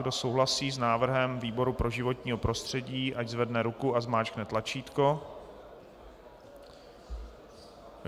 Kdo souhlasí s návrhem výboru pro životní prostředí, ať zvedne ruku a zmáčkne tlačítko.